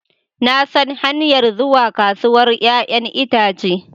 Na san hanyar zuwa kasuwar 'ya'yan itace